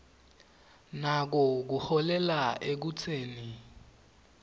nako kuholela ekutseni